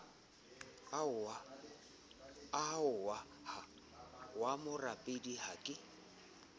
ahwa wa morapedi ha ke